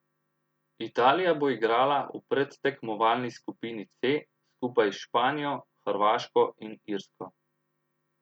Italija bo igrala v predtekmovalni skupini C skupaj s Španijo, Hrvaško in Irsko.